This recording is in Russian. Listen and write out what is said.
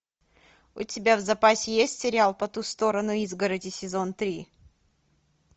у тебя в запасе есть сериал по ту сторону изгороди сезон три